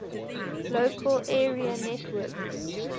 local area networks